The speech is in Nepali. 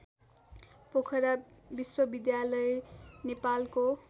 पोखरा विश्वविद्यालय नेपालको